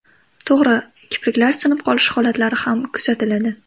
To‘g‘ri, kipriklar sinib qolish holatlari ham kuzatiladi.